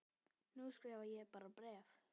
Nú skrifa ég bara bréf!